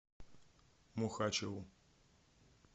мухачеву